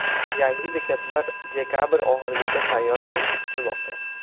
Yangi bekatlar dekabr oxirigacha tayyor bo‘lishi kutilmoqda.